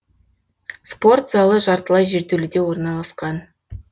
спорт залы жартылай жертөледе орналасқан